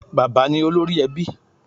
Bà̀bá ni olórí ẹbí